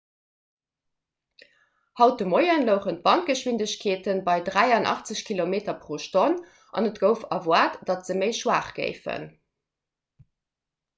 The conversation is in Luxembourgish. haut de moie louchen d'wandgeschwindegkeete bei 83 km/h an et gouf erwaart datt se méi schwaach géifen